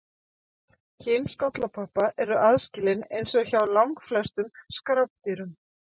Kyn skollakoppa eru aðskilin eins og hjá langflestum skrápdýrum.